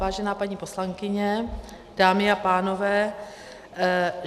Vážená paní poslankyně, dámy a pánové.